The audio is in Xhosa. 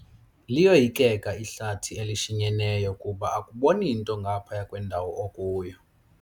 Liyoyikeka ihlathi elishinyeneyo kuba akuboni nto ngaphaya kwendawo okuyo.